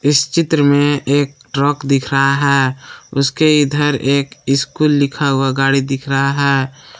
इस चित्र में एक ट्रक दिख रहा है उसके इधर एक स्कूल लिखा हुआ गाड़ी दिख रहा है।